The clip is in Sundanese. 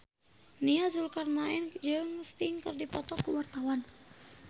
Nia Zulkarnaen jeung Sting keur dipoto ku wartawan